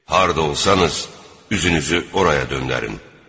Harda olsanız, üzünüzü oraya döndərin.